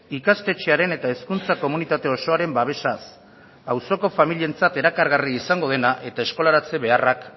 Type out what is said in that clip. ikastetxearen eta hezkuntza komunitate osoaren babesaz auzoko familientzat erakargarri izango dena eta eskolaratze beharrak